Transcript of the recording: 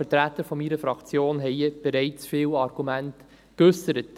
Die Vertreter meiner Fraktion haben hier bereits viele Argumente geäussert.